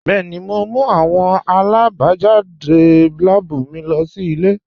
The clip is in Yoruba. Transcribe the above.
Bẹẹ̀ni, mo n mú awọn abajadé láàbú mí lọ sí ilẹ̀.